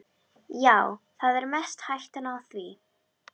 Já, það er mest hættan á því.